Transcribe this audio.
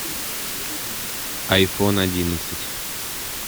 айфон одиннадцать